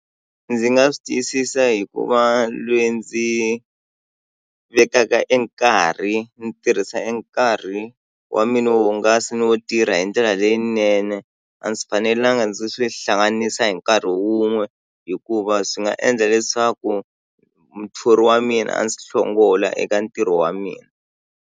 Ndzi nga swi tiyisisa hi ku va lweyi ndzi vekaka e nkarhi ndzi tirhisa e nkarhi wa mina wo hungasa ni wo tirha hi ndlela leyinene a ndzi fanelanga ndzi swi hlanganisa hi nkarhi wun'we hikuva swi nga endla leswaku muthori wa mina a ndzi hlongola eka ntirho wa mina.